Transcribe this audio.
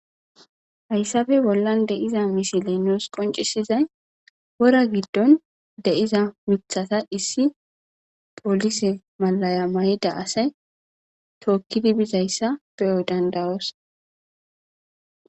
hayssabe bollan deiza misiley nuus qoncisizay wora giddon deiza mithata issi polise malaya may7ida asay tookkidi bizayssa beyo dandayoos